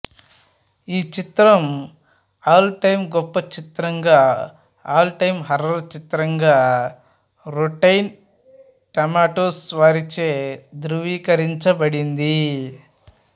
ఈ చిత్రం all time గొప్ప చిత్రంగా ఆల్ టైం హర్రర్ చిత్రంగా రొట్టెన్ టమాటోస్ వారిచే ధ్రువీకరించబడింది